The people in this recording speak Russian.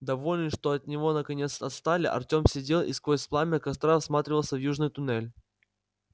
довольный что от него наконец отстали артём сидел и сквозь пламя костра всматривался в южный туннель